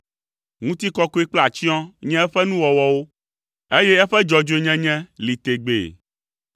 Ŋutikɔkɔe kple atsyɔ̃ nye eƒe nuwɔwɔwo, eye eƒe dzɔdzɔenye li tegbee.